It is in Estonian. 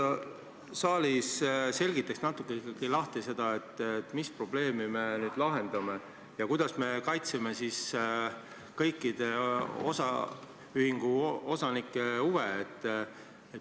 Võib-olla sa selgitaksid natuke ikkagi lahti seda, mis probleemi me nüüd lahendame ja kuidas me kaitseme kõikide osaühingu osanike huve.